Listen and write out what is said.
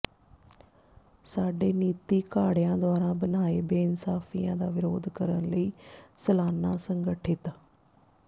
ਸਾਡੇ ਨੀਤੀਘਾੜਿਆਂ ਦੁਆਰਾ ਬਣਾਏ ਬੇਇਨਸਾਫੀਆਂ ਦਾ ਵਿਰੋਧ ਕਰਨ ਲਈ ਸਲਾਨਾ ਸੰਗਠਿਤ